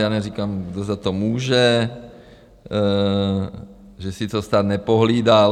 Já neříkám, kdo za to může, že si to stát nepohlídal.